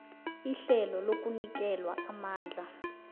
ihlelo lokunikelwa amandla